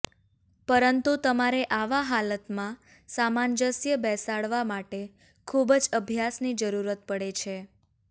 પરંતુ તમારે આવા હાલાતમાં સામાંજસ્ય બેસાડવા માટે ખુબ જ અભ્યાસની જરૂરત પડે છે